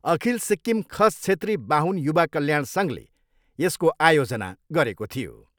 अखिल सिक्किम खस छेत्री बाहुन युवा कल्याण सङ्घले यसको आयोजना गरेको थियो।